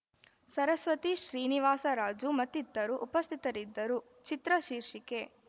ಸರಸ್ವತಿ ಶ್ರೀನಿವಾಸರಾಜು ಮತ್ತಿತರರು ಉಪಸ್ಥಿತರಿದ್ದರು ಚಿತ್ರ ಶೀರ್ಷಿಕೆ